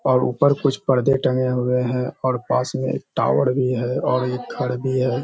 और ऊपर कुछ पर्दे टगे हुए है और पास में एक टावर भी है और एक घर भी हैं।